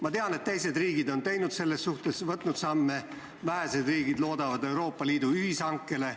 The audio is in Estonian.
Ma tean, et teised riigid on selles suhtes astunud samme, vähesed riigid loodavad Euroopa Liidu ühishankele.